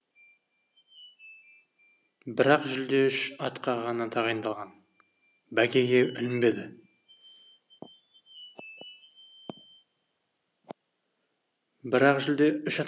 бірақ жүлде үш атқа ғана тағайындалған бәйгеге ілінбеді бірақ жүлде үш ат